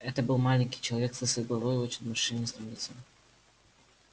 это был маленький человек с лысой головой и очень морщинистым лицом